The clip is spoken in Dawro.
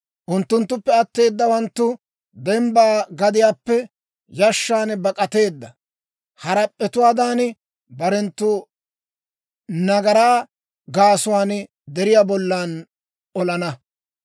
Unttunttuppe atteedawanttu, dembba gadiyaappe yashshan bak'ateedda harap'p'etuwaadan barenttu nagaraa gaasuwaan deriyaa bollan olana.